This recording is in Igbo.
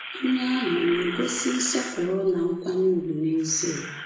Onye ahụ ọ̀ na-egosi nsọpụrụ na nkwanye ùgwù n’ezie?